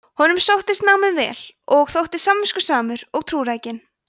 honum sóttist námið vel og þótti samviskusamur og trúrækinn